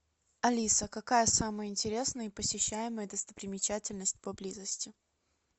алиса какая самая интересная и посещаемая достопримечательность поблизости